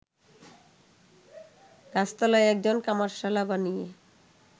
গাছতলায় একজন কামারশালা বানিয়ে